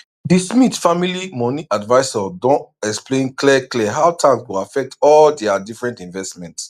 di smith family money advisor don explain clear clear how tax go affect all dia different investment